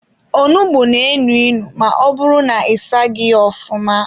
Onugbu na-enu inu ma ọbụrụ na-asaghi ya ofụma.